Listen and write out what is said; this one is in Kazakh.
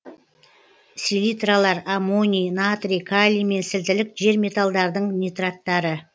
селитралар аммоний натрий калий мен сілтілік жер металдардың нитраттары